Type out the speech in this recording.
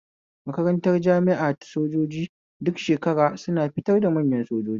Makarantar jami'a ta sojoji duk shekara suna fitar da manya sojoji